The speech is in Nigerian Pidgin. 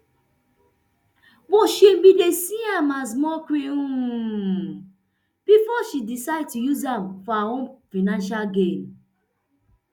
but she bin dey see am as mockery um bifor she decide to use am for her own financial gain